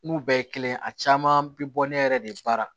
N'u bɛɛ ye kelen ye a caman bɛ bɔ ne yɛrɛ de baara